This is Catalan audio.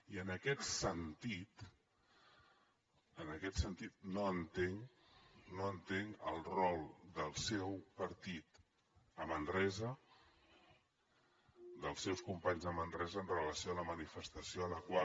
i en aquest sentit no entenc no entenc el rol del seu partit a manresa dels seus companys a manresa amb relació a la manifestació a la qual